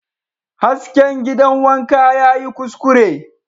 Hasken gidan wanka yayi kuskure